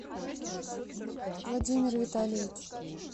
владимир витальевич